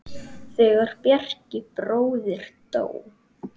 Þegar Bjarki bróðir dó.